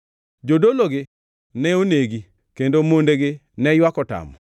jodologi ne onegi, kendo mondegi ne ywak otamo.